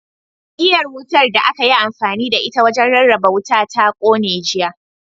Igiyar wutar da aka yi amfani da ita wajen rarraba wuta ta kone, jiya.